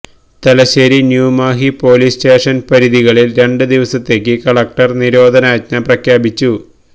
Thalassery New Mahe police സ്റ്റേഷന് പരിധികളില് രണ്ട് ദിവസത്തേക്ക് collector നിരോധനാജ്ഞ പ്രഖ്യാപിച്ചു